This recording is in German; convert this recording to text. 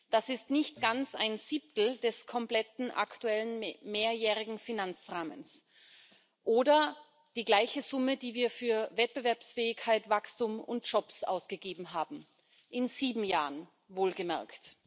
Das ist nicht ganz ein Siebtel des kompletten aktuellen mehrjährigen Finanzrahmens oder die gleiche Summe, die wir für Wettbewerbsfähigkeit, Wachstum und Jobs ausgegeben haben in sieben Jahren wohlgemerkt.